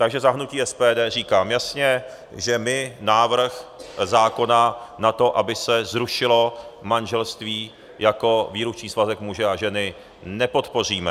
Takže za hnutí SPD říkám jasně, že my návrh zákona na to, aby se zrušilo manželství jako výlučný svazek muže a ženy, nepodpoříme.